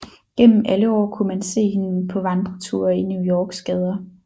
Gennem alle år kunne man se hende på vandreture i New Yorks gader